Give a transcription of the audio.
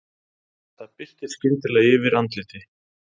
Það birtir skyndilega yfir andliti